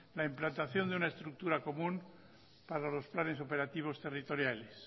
la implantación de una estructura común para los planes operativos territoriales